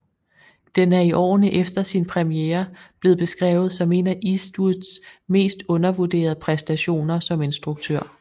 Den er i årene efter sin premiere blevet beskrevet som en af Eastwoods mest undervurderede præstationer som instruktør